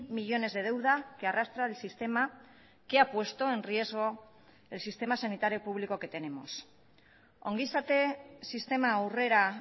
millónes de deuda que arrastra el sistema que ha puesto en riesgo el sistema sanitario público que tenemos ongizate sistema aurrera